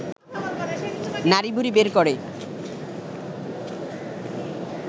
নাড়িভুঁড়ি বের করে